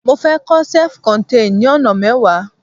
mo fe ko self contain ni ona mewa